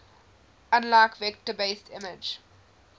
unlike vector based image